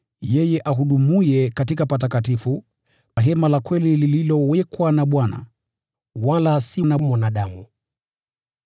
yeye ahudumuye katika patakatifu, hema la kweli lililowekwa na Bwana, wala si na mwanadamu.